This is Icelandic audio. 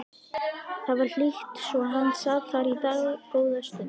Það var hlýtt svo hann sat þar í dágóða stund.